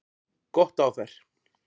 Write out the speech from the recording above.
Gott á þær!